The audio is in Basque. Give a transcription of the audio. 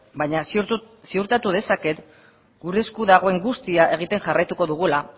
baina ziurtatu dezaket gure esku dagoen guztia egiten jarraituko dugula